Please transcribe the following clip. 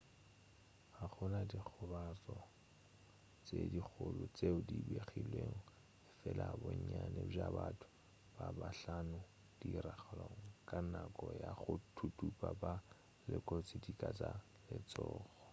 ga go na dikgobalo tše dikgolo tšeo di begilwego efela bonnyane bja batho ba bahlano tiragalong ka nako ya go thuthupa ba lekotšwe dika tša letšhogo